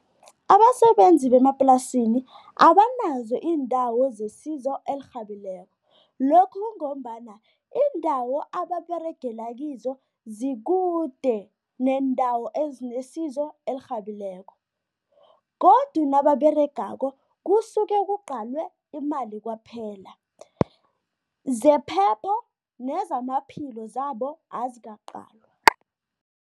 Abasebenzi bemaplasini abanazo iindawo zesizo elirhabileko. Lokhu kungombana iindawo ababeregela kizo zikude neendawo ezinesizo elirhabileko godu nababeregako kusuke kuqalwe imali kwaphela, zephepho nezamaphilo zabo azikaqalwa.